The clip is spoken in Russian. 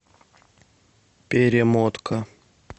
перемотка